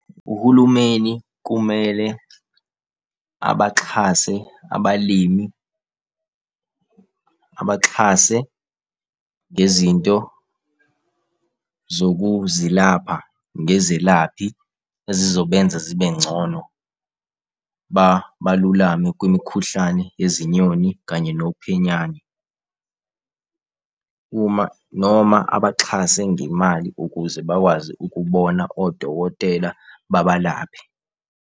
Uhulumeni kumele abaxhase abalimi, abaxhase ngezinto zokuzilapha ngezelaphi ezizobenza zibe ngcono baluleme kwimikhuhlane yezinyoni kanye nophenyane. Uma noma abaxhase ngemali ukuze bakwazi ukubona odokotela babalaphe.